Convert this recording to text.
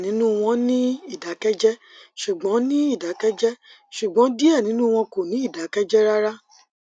diẹ ninu wọn n ni idakẹjẹ ṣugbọn ni idakẹjẹ ṣugbọn diẹ ninu wọn kò ni idakẹjẹ rara